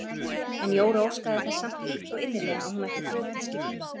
En Jóra óskaði þess samt heitt og innilega að hún ætti föt til skiptanna.